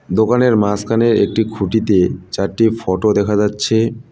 দোকানের মাসখানের একটি খুঁটিতে চারটি ফটো দেখা যাচ্ছে।